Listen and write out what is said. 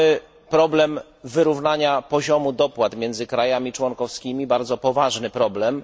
Mamy problem wyrównania poziomu dopłat między krajami członkowskimi, bardzo poważny problem.